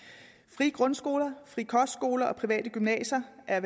frie grundskoler frie kostskoler og private gymnasier er